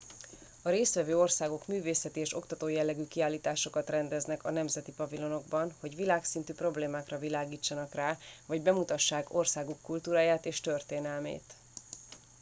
a résztvevő országok művészeti és oktató jellegű kiállításokat rendeznek a nemzeti pavilonokban hogy világszintű problémákra világítsanak rá vagy bemutassák országuk kultúráját és történelmét